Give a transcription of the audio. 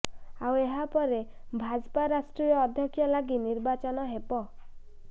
ଆଉ ଏହାପରେ ଭାଜପା ରାଷ୍ଟ୍ରୀୟ ଅଧ୍ୟକ୍ଷ ଲାଗି ନିର୍ବାଚନ ହେବ